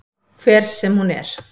Hver sem hún er.